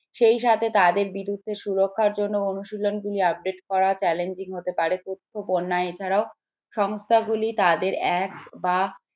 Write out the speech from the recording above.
সেই সাথে তাদের বিরুদ্ধে সুরক্ষা জন্য অনুশীলন গুলি update করা challenging হতে পারে এছাড়াও সংস্থার গুলি তাদের এক বা